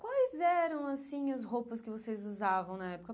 Quais eram, assim, as roupas que vocês usavam na época?